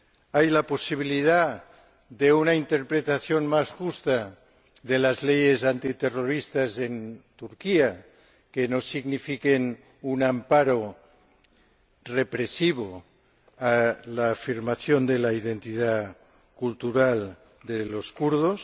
hay la posibilidad de una interpretación más justa de las leyes antiterroristas en Turquía, para que no signifiquen un amparo represivo frente a la afirmación de la identidad cultural de los kurdos